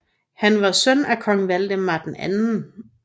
Han var søn af kong Valdemar 2